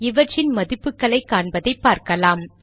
இவற்றின் மதிப்புகளைக் காண்பதைப் பார்க்கலாம்